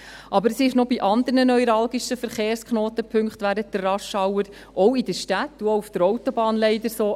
Aber das ist auch bei anderen neuralgischen Verkehrsknotenpunkten während der Rushhour – auch in den Städten und auch auf der Autobahn – leider so.